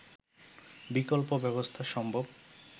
বিকল্প ব্যবস্থা সম্ভব